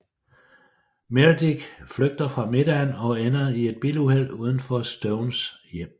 Meredith flygter fra middagen og ender i et biluheld uden for Stones hjem